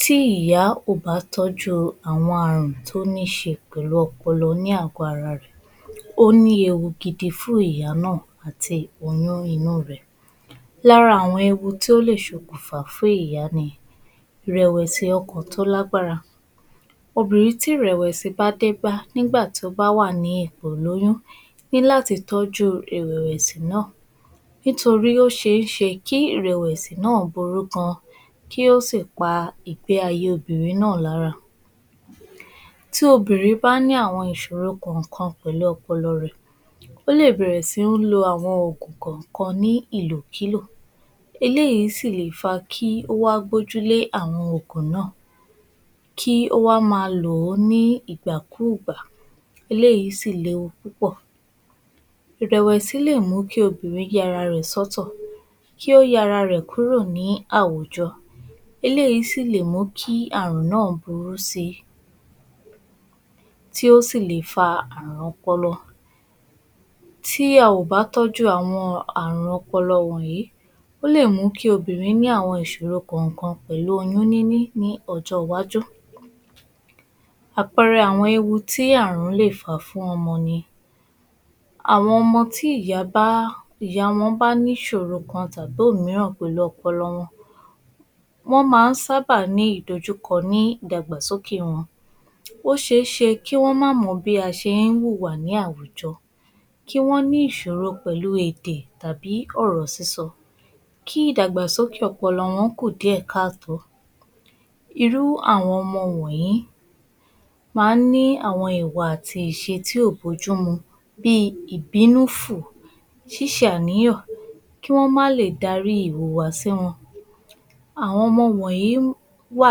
Tí ìyà kò bá tọ́jú àwọn àrùn tí ó níṣe pẹ̀lú àrùn ọpọlọ ní àgọ́ ara rẹ̀, ó ní ewu gidi fún ìyá náà àti oyún inú rẹ̀. Lára àwọn tí ó lè ṣokùnfà fún ìyá ni ìrẹ̀wẹ̀sì ọkàn tó lágbára. Obìnrin tí ìrẹ̀wẹ̀sì ọkàn bá dé bá nígbà tí ó bá wà ní ipò ìlóyún ní láti tọ́jú ìrẹ̀wẹ̀sì náà, nítorí pé ó ṣeé ṣe kí rẹ̀wẹ̀sì náà burú gan-an kí ó sì pá igbe ayé obìnrin náà lára. Tí obìnrin bẹ́ẹ̀ bá ní àwọn ìṣòro kọ̀ọ̀kan pẹ̀lú ọpọlọ rẹ̀, ó lè bẹ̀rẹ̀ sí ní lo àwọn Ògùn kọ̀ọ̀kan ní ìlòkílò Eléyìí sì lè fa kí ó wá gbójú lé àwọn ògùn náà kì ó wà máa lò ó ní ígbàkúùgbà, eléyìí sì léwu púpọ̀. Ìrẹ̀wẹ̀sì lè mú kí obìnrin ya ara rẹ̀ sọ́tọ̀,, kí ó yà ara rẹ̀ kúrò ní àwùjọ, eléyìí sì lè mú kí àrùn náà burú si, tí ó sì lè fà àrùn ọpọlọ. Tí a ó bá tọ́jú àwọn àrùn wọ̀nyí, ó lè mú kí obìnrin ní àwọn ìṣòro kọ̀ọ̀kan pẹ̀lú oyún níní ní ọjọ́ iwájú. Àpẹẹrẹ àwọn ewu ti àrùn lè fà fún ọmọ ni, àwọn ọmọ tí ìyà wọn ba ni ìṣòro kan tàbí òmíràn pẹ̀lú ọpọlọ wọn, wọ́n máa ń sábà ní ìdojúkọ ni ìdàgbàsókè wọn, ó ṣeé ṣe kí wọ́n ma mọ bí a ṣe ń wùwà láwùjọ, kí wọ́n ní ìṣòro pẹ̀lú èdè tàbí ọ̀rọ̀ sísọ, kí ìdàgbàsókè ọpọlọ wọn kú díẹ̀ káàtó. Irú àwọn ọmọ wọ̀nyí, máa ń ní ìwà àti ìṣe tí ò bójú mu, bíi ìbínú fùù, ṣíṣe àníyàn, kí wọ́n ma lè dárí ìwà wọn. Àwọn ọmọ yìí wà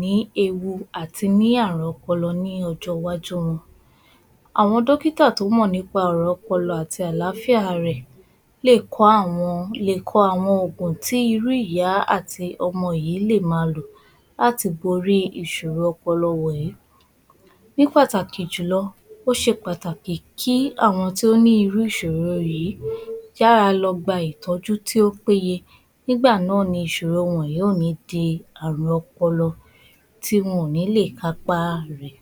ní ewu àti ní àrùn ọpọlọ ní ọjọ́ iwájú wọn. Àwọn dókítà tó mọ̀ nípa àrùn ọpọlọ àti àlàáfíà ara rẹ̀, lè kọ àwọn ògùn tí irú ìyá àti ọmọ yìí lè máa lo láti borí ìṣòro ọpọlọ wọ̀nyí ní pàtàkì jùlọ ó ṣe pàtàkì kí àwọn tí ó ní irú ìṣòro yìí yára lọ gba ìtọ́jú tí ó péye nígbà náà ni ìṣòro yìí ò ní di àrùn tí wọn ò ní lè kápá rẹ̀.